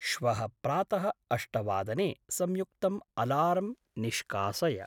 श्वः प्रातः अष्टवादने संयुक्तम् अलार्म् निष्कासय।